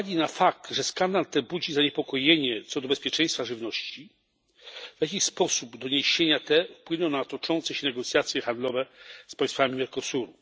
Z uwagi na fakt, że skandal ten budzi zaniepokojenie co do bezpieczeństwa żywności, w jaki sposób doniesienia te wpłyną na toczące się negocjacje handlowe z państwami Mercosuru?